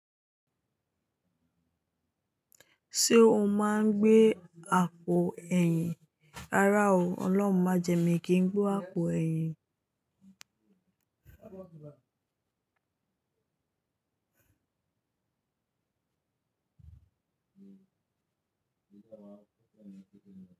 Ṣé o máa ń gbé àpò ẹ̀yìn? Rárá o, Ọlọ́run má jẹ, mí kí n gbé àpò ẹ̀yìn.